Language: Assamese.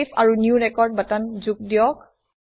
চেভ আৰু নিউ ৰেকৰ্ড বাটন যোগ দিয়ক